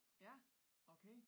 Ja okay